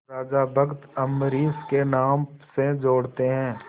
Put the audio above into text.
राजा भक्त अम्बरीश के नाम से जोड़ते हैं